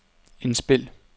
indspil